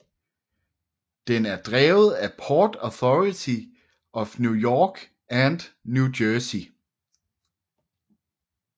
Den er drevet af Port Authority of New York and New Jersey